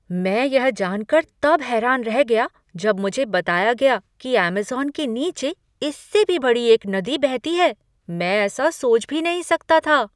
मैं यह जान कर तब हैरान रह गया जब मुझे बताया गया कि अमेज़न के नीचे इससे भी बड़ी एक नदी बहती है। मैं ऐसा सोच भी नहीं सकता था!